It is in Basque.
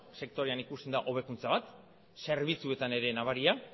sektorean ikusten da hobekuntza bat zerbitzuetan ere nabaria